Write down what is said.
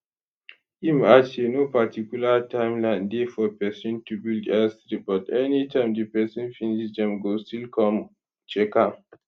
im add say no particular time line dey for pesin to build airstrip but anytime di pesin finish dem go still come check am